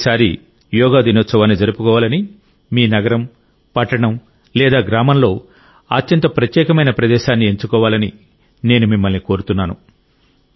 ఈసారి యోగా దినోత్సవాన్ని జరుపుకోవాలని మీ నగరం పట్టణం లేదా గ్రామంలో అత్యంత ప్రత్యేకమైన ప్రదేశాన్ని ఎంచుకోవాలని నేను మిమ్మల్ని కోరుతున్నాను